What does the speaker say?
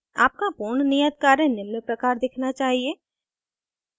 आपका पूर्ण नियत कार्य निम्न प्रकार दिखना चाहिए